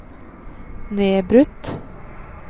nedbrutt